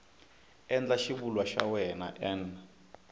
endla xivulwa xa wena n